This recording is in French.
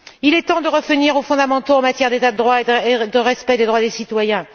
Il est temps de revenir aux fondamentaux en matière d'état de droit et de respect des droits des citoyens.